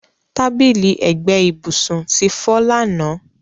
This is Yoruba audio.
Tábìlì ẹgbẹ́ ìbùsùn ti fọ́ lánàá.